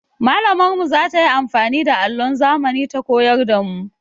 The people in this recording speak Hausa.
Mallamar mu za ta yi amfani da allon zamani ta koyar da mu.